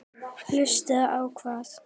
Hlusta á hvað?